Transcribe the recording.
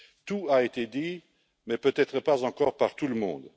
Tout a été dit, mais peut être pas encore par tout le monde.